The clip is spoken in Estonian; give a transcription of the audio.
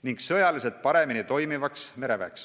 ning sõjaliselt paremini toimivaks mereväeks.